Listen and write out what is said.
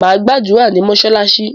Màá gbàdúrà ní mosalasi